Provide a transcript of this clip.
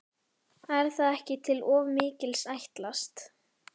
Er það ekki til of mikils ætlast?